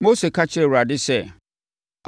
Mose ka kyerɛɛ Awurade sɛ,